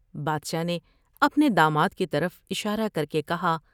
بادشاہ نے اپنے داماد کی طرف اشارہ کر کے کہا ۔